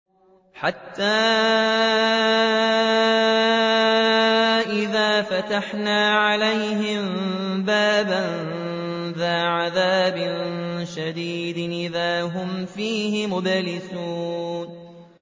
حَتَّىٰ إِذَا فَتَحْنَا عَلَيْهِم بَابًا ذَا عَذَابٍ شَدِيدٍ إِذَا هُمْ فِيهِ مُبْلِسُونَ